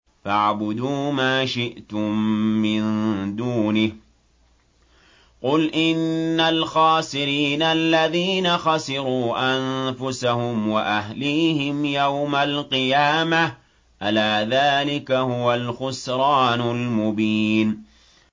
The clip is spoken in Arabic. فَاعْبُدُوا مَا شِئْتُم مِّن دُونِهِ ۗ قُلْ إِنَّ الْخَاسِرِينَ الَّذِينَ خَسِرُوا أَنفُسَهُمْ وَأَهْلِيهِمْ يَوْمَ الْقِيَامَةِ ۗ أَلَا ذَٰلِكَ هُوَ الْخُسْرَانُ الْمُبِينُ